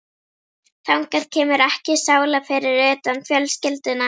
Þangað kemur ekki sála, fyrir utan fjölskylduna.